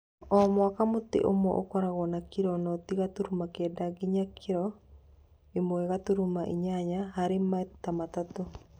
O mwaka mũtĩ ũmwe ũkoragwo na kiro noti gaturumo kenda nginya kiro ĩmwe gaturumo inya harĩ maita matatũ.